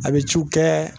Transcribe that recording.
A bɛ ciw kɛ